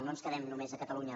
no ens quedem només a catalunya